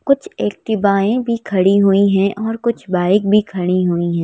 कुछ एक्टिवाएं भी खड़ी हुई हैं और कुछ बाइक भी खड़ी हुई हैं।